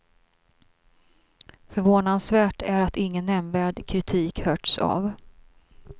Förvånansvärt är att ingen nämnvärd kritik hörts av.